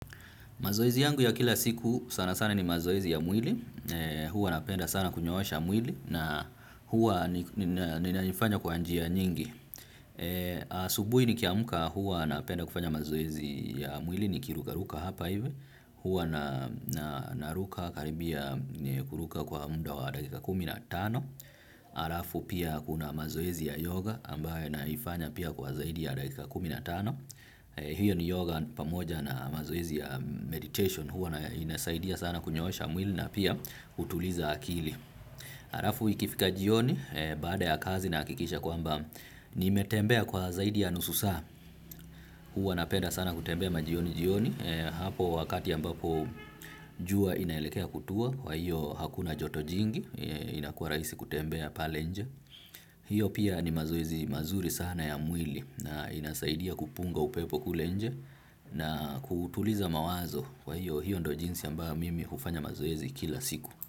Mazoezi yangu ya kila siku sana sana ni mazoezi ya mwili, huwa napenda sana kunyoosha mwili na huwa ninaifanya kwa njia nyingi. Asubuhi nikiamka huwa napenda kufanya mazoezi ya mwili nikiruka ruka hapa hivi, huwa na naruka karibia kuruka kwa muda wa dakika kumi na tano. Halafu pia kuna mazoezi ya yoga ambaye naifanya pia kwa zaidi ya dakika kumi na tano. Hiyo ni yoga pamoja na mazoezi ya meditation huwa inasaidia sana kunyoosha mwili na pia kutuliza akili halafu ikifika jioni baada ya kazi na hakikisha kwamba nimetembea kwa zaidi ya nusu saa huwa napenda sana kutembea majioni jioni hapo wakati ambapo jua inaelekea kutua kwa hiyo hakuna joto jingi inakua raisi kutembea pale nje hiyo pia ni mazoezi mazuri sana ya mwili na inasaidia kupunga upepo kule nje na kutuliza mawazo kwa hiyo hiyo ndio jinsi ambayo mimi hufanya mazoezi kila siku.